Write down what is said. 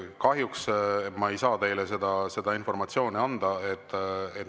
Kahjuks ma ei saa teile seda informatsiooni anda.